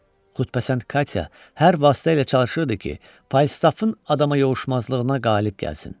Xüsusəndə Katya hər vasitə ilə çalışırdı ki, Falstafın adama yovuşmazlığına qalib gəlsin.